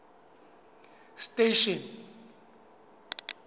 station